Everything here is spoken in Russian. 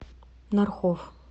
нархов